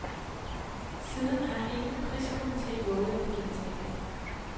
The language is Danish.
Siden har ingen priskomite vovet at gentage det.